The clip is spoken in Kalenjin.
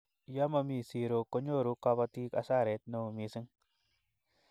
ye mami zero konyorun kabatik asaret neo mising